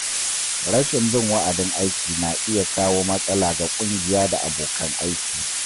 Rashin bin wa’adin aiki na iya kawo matsala ga ƙungiya da abokan aiki.